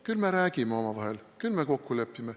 Küll me räägime omavahel, küll me kokku lepime.